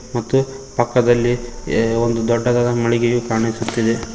ಮತ್ತೆ ಪಕ್ಕದಲ್ಲಿ ಎ ಒಂದು ದೊಡ್ಡದಾದ ಮಳಿಗೆಯು ಕಾಣಿಸುತ್ತಿದೆ.